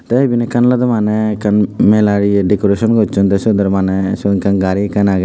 te eben ekkan olode mane ekkan mela eye dekoreson gosson te so ole mane sot ekkan gari ekkan agey.